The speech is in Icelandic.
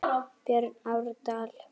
Björn Árdal.